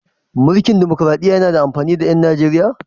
Mulkin demokraɗiyya yana da amfani ga 'yan Nijeriya?